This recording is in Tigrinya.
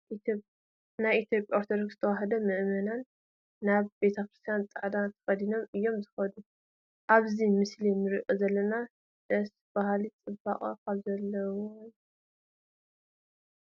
ናይ ኢትዮጵያ ኦርቶዶክስ ተዋህዶ ምእመናን ናብ ቤተ ክርስቲያን ፃዕዳ ተኸዲኖም እዮም ዝኸዱ፡፡ ኣብዚ ምስሊ ንሪኦ ዘለና ደስ በሃሊ ፅባቐ ካብዚ ዝነቐለ እዩ፡፡